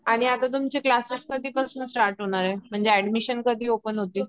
आणि आता तुमचे क्लास्सेस कधी पासून सुरू होणार आहे म्हणजे एड्मिशन कधी ओपेन होतील